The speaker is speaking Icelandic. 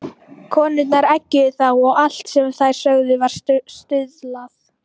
Konurnar eggjuðu þá og allt sem þær sögðu var stuðlað.